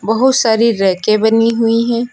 बहुत सारी रैके बनी हुई है।